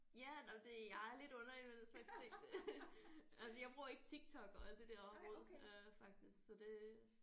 Ja nej det jeg er lidt underlig med den slags ting. Altså jeg bruger ikke Tik Tok og alt det der overhovedet øh faktisk så det